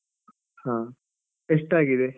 ಹ, ಎಷ್ಟಾಗಿದೆ?